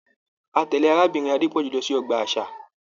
A tẹle Arábìnrin Adepoju lọ sí ọgbà àṣà.